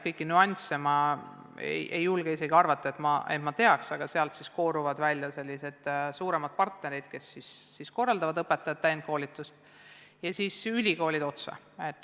Kõiki nüansse ma isegi ei tea, aga sealt kooruvad välja suuremad partnerid, kes korraldavad õpetajate täienduskoolitust.